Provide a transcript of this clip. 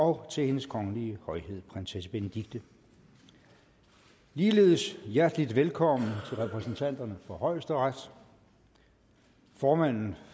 og til hendes kongelige højhed prinsesse benedikte ligeledes hjertelig velkommen repræsentanterne for højesteret formanden